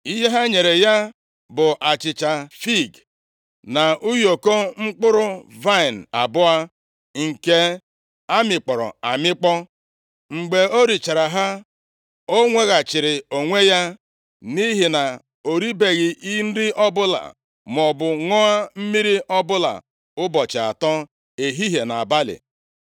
Ihe ha nyere ya bụ achịcha fiig, + 30:12 \+xt 1Sa 25:18\+xt* na ụyọkọ mkpụrụ vaịnị abụọ nke a mịkpọrọ amịkpọ. Mgbe o richara ha, o nweghachiri onwe ya, nʼihi na o ribeghị nri ọbụla, maọbụ ṅụọ mmiri ọbụla ụbọchị atọ, ehihie na nʼabalị.